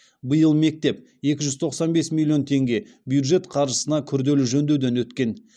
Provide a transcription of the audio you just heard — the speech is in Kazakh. биыл мектеп екі жүз тоқсан бес миллион теңге бюджет қаржысына күрделі жөндеуден өткен